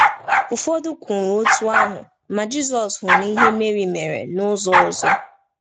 Ụfọdụ kwuru otú ahụ, ma Jizọs hụrụ ihe Meri mere n’ụzọ ọzọ.